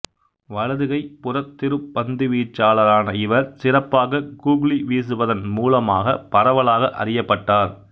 வலது கை புறத்திருப்ப பந்து வீச்சாளரான இவர் சிறப்பாக கூக்ளி விசுவதன் மூலமாக பரவலாக அறியப்பட்டார்